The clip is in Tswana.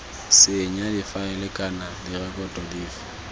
senya difaele kana direkoto dife